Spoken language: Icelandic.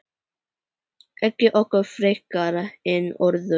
Ekki okkur frekar en öðrum.